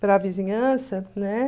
para a vizinhança, né?